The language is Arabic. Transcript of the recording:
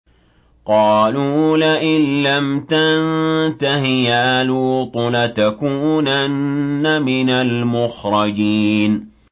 قَالُوا لَئِن لَّمْ تَنتَهِ يَا لُوطُ لَتَكُونَنَّ مِنَ الْمُخْرَجِينَ